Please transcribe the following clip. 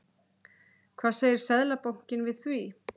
Hvað segir Seðlabankinn við því?